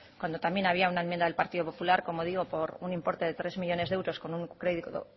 cuando también había una enmienda del partido popular como digo por un importe de tres millónes de euros con un crédito